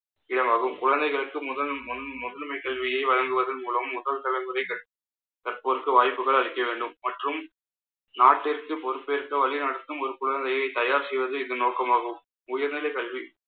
இடமாகும். குழந்தைகளுக்கு, முதல் முன்~ கல்வியை வழங்குவதன் மூலம் முதல் தலைமுறை கற்~ கற்போருக்கு வாய்ப்புகள் அளிக்க வேண்டும். மற்றும் நாட்டிற்கு பொறுப்பேற்க வழி நடத்தும் ஒரு குழந்தையை தயார் செய்வது இதன் நோக்கமாகும். உயர்நிலை கல்வி